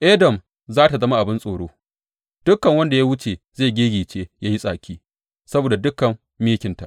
Edom za tă zama abin tsoro; dukan wanda ya wuce zai giggice ya yi tsaki saboda dukan mikinta.